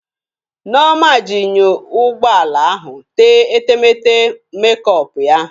Nneoma ji enyo ụgbọ ala ahụ tee etemeete mekọpụ ya